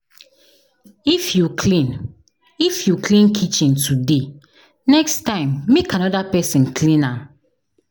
If you clean If you clean kitchen today, next time make another person clean am